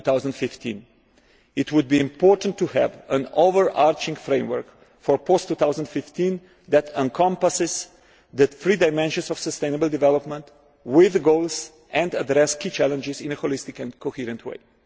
2015. It would be important to have an overarching framework for post 2015 that encompasses the three dimensions of sustainable development with goals that address key challenges in a holistic and coherent way.